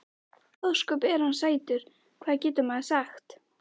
Ósköp er hann sætur, hvað getur maður sagt.